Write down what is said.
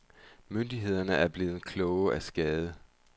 Myndighederne er blevet kloge af skade.